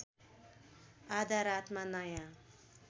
आधा रातमा नयाँ